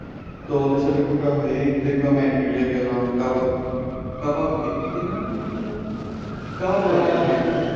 তো ওদের সাথে ঘুরা হয় এই সিগমা মেগ গ্রিলে গেলাম কাবাব খেলাম। কাবাব কি নাম যেন ছিল? হ্যাঁ কাবাব কটিয়া।